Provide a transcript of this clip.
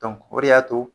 o de y'a to